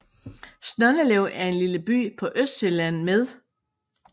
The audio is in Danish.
Snoldelev er en lille by på Østsjælland med